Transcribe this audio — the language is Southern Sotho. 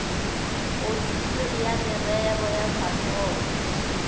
ofisiri ya merero ya sapoto